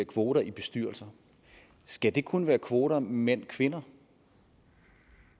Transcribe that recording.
kvoter i bestyrelser skal der kun være kvoter for mændkvinder